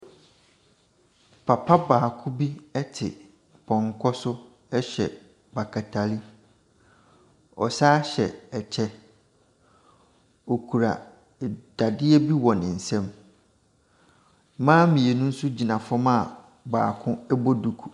Papa baako bi te pɔnkɔ so hyɛ batakari, ɔsane hyɛ ɛkyɛ. Ɔkura dadeɛ bi wɔ ne nsam. Mmaa mmienu nsogyina fam a baako bɔ duku.